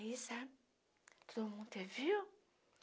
Aí, sabe, todo mundo te viu?